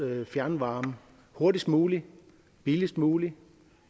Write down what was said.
fjernvarme hurtigst muligt billigst muligt